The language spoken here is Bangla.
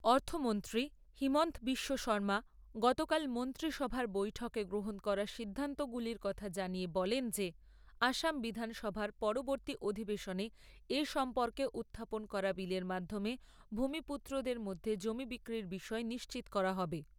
অর্থমন্ত্রী হিমন্ত বিশ্ব শৰ্মা গতকাল মন্ত্রী সভার বৈঠকে গ্রহণ করা সিদ্ধান্তগুলির কথা জানিয়ে বলেন যে আসাম বিধান সভার পরবর্তী অধিবেশনে এ সম্পর্কে উত্থাপন করা বিলের মাধ্যমে ভূমিপুত্রদের মধ্যে জমি বিক্রির বিষয়ে নিশ্চিত করা হবে।